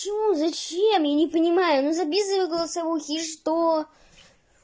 почему зачем я не понимаю но записывай голосовые и что